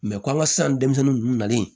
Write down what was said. komi an ka san denmisɛnninw ninnu nalen